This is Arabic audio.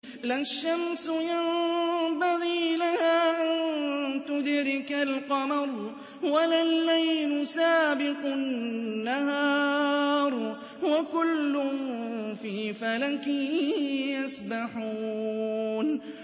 لَا الشَّمْسُ يَنبَغِي لَهَا أَن تُدْرِكَ الْقَمَرَ وَلَا اللَّيْلُ سَابِقُ النَّهَارِ ۚ وَكُلٌّ فِي فَلَكٍ يَسْبَحُونَ